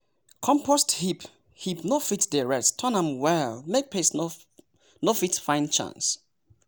compost heap heap no fit dey rest turn am well make pest no fit find chance.